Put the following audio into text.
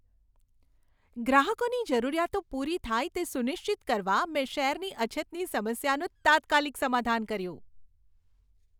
ગ્રાહકોની જરૂરિયાતો પૂરી થાય તે સુનિશ્ચિત કરવા મેં શેરની અછતની સમસ્યાનું તાત્કાલિક સમાધાન કર્યું.